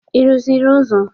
Ị rụziri ụzọ?